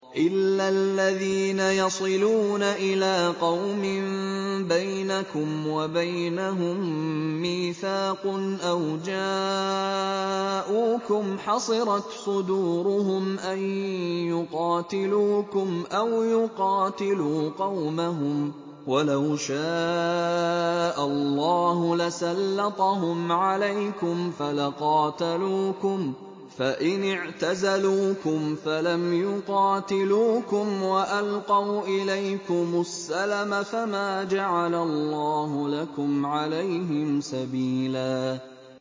إِلَّا الَّذِينَ يَصِلُونَ إِلَىٰ قَوْمٍ بَيْنَكُمْ وَبَيْنَهُم مِّيثَاقٌ أَوْ جَاءُوكُمْ حَصِرَتْ صُدُورُهُمْ أَن يُقَاتِلُوكُمْ أَوْ يُقَاتِلُوا قَوْمَهُمْ ۚ وَلَوْ شَاءَ اللَّهُ لَسَلَّطَهُمْ عَلَيْكُمْ فَلَقَاتَلُوكُمْ ۚ فَإِنِ اعْتَزَلُوكُمْ فَلَمْ يُقَاتِلُوكُمْ وَأَلْقَوْا إِلَيْكُمُ السَّلَمَ فَمَا جَعَلَ اللَّهُ لَكُمْ عَلَيْهِمْ سَبِيلًا